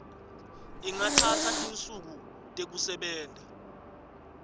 ingatsatsa tinsuku tekusebenta